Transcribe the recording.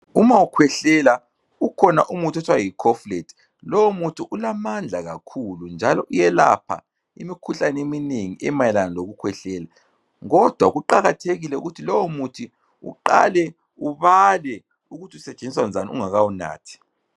Uma ukhwehlela, kukhona umuthi othiwa yi Koflet. Lowo muthi ulamandla kakhulu njalo uyelapha imikhuhlane eminengi emayelana lokukhwehlela. Kodwa kuqakathekile ukuthi lowo muthi uqale ubale ukuth'usetshenziswa njani ungakawunathi.